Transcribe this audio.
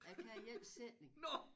Jeg kan én sætning